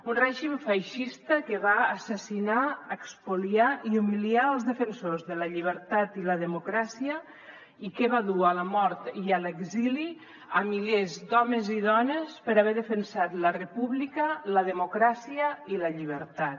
un règim feixista que va assassinar espoliar i humiliar els defensors de la llibertat i la democràcia i que va dur a la mort i a l’exili milers d’homes i dones per haver defensat la república la democràcia i la llibertat